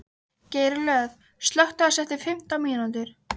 Geirlöð, slökktu á þessu eftir fimmtán mínútur.